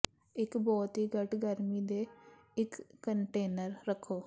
ਇੱਕ ਬਹੁਤ ਹੀ ਘੱਟ ਗਰਮੀ ਤੇ ਇੱਕ ਕੰਟੇਨਰ ਰੱਖੋ